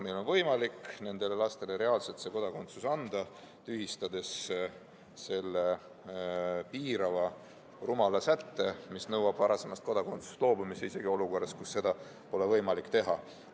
Meil on võimalik nendele lastele reaalselt kodakondsus anda, kui tühistame selle piirava rumala sätte, mis nõuab varasemast kodakondsusest loobumist isegi olukorras, kus seda pole võimalik teha.